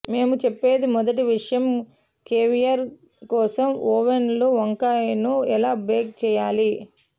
మేము చెప్పేది మొదటి విషయం కేవియర్ కోసం ఓవెన్లో వంకాయను ఎలా బేక్ చేయాలి